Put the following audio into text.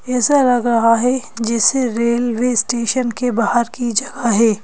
ऐसा लग रहा है जैसे रेलवे स्टेशन के बाहर की जगह है।